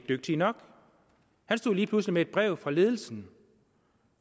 dygtige nok han stod lige pludselig med et brev fra ledelsen